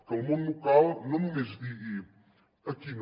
que el món local no només digui aquí no